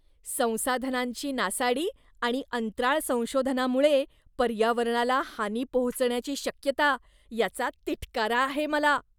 संसाधनांची नासाडी आणि अंतराळ संशोधनामुळे पर्यावरणाला हानी पोहोचण्याची शक्यता, याचा तिटकारा आहे मला.